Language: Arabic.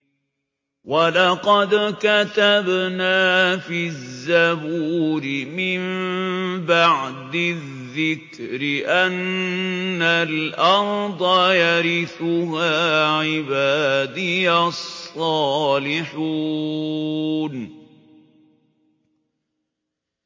وَلَقَدْ كَتَبْنَا فِي الزَّبُورِ مِن بَعْدِ الذِّكْرِ أَنَّ الْأَرْضَ يَرِثُهَا عِبَادِيَ الصَّالِحُونَ